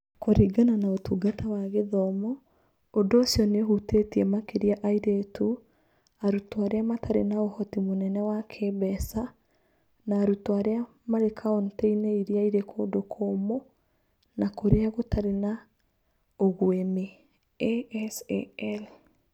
Kũringana na Ũtungata wa Gĩthomo, ũndũ ũcio nĩ ũhutĩtie makĩria airĩtu, arutwo arĩa matarĩ na ũhoti mũnene wa kĩĩmbeca, na arutwo arĩa marĩ kaunti-inĩ irĩa irĩ kũndũ kũũmũ na kũrĩa gũtarĩ na ũguĩmi (ASAL).